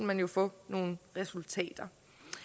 man jo få nogle resultater